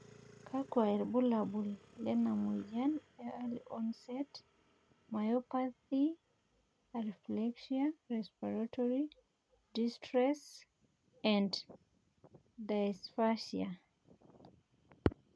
kakua irbulabo le moyian e Early onset myopathy, areflexia, respiratory distress and dysphagia?